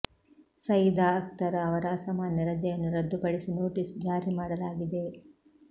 ಸಯೀದಾ ಅಖ್ತರ್ ಅವರ ಅಸಾಮಾನ್ಯ ರಜೆಯನ್ನು ರದ್ದುಪಡಿಸಿ ನೋಟಿಸ್ ಜಾರಿ ಮಾಡಲಾಗಿದೆ